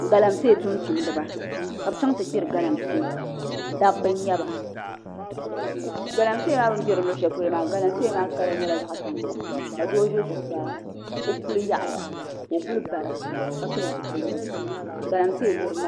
Galamsee tumtumdiba ka bi chɛŋ ti gbiri galamsee dabba n nyɛba galamsee maa bini gbirili luɣu shɛli polo maa galamsee maa kala nyɛla zaɣ tankpaɣu ka doo ʒɛ zuɣusaa o puli yaɣaya ka o kuli bara ka pili zipiligu galamsee gbiribi maa